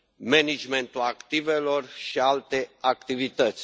managementul activelor și alte activități.